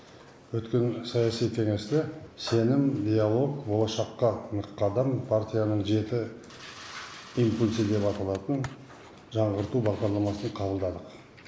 өткен саяси кеңесте сенім диалог болашаққа нық қадам партияның жеті импульсі деп аталатын жаңғырту бағдарламасын қабылдадық